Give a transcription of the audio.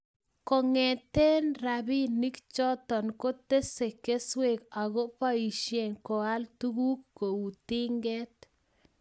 Kong'ete rabinik chotok kotese keswek ako poishe koal tuguk kou tinget